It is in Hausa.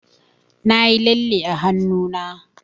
Nayi lalle a hannuna.